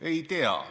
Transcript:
Ei tea.